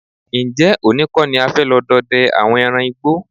Ǹjé̩ òní kó̩ ni a fé̩ lo̩ do̩de̩ àwo̩n e̩ran igbó?